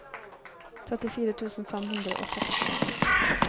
trettifire tusen fem hundre og sekstien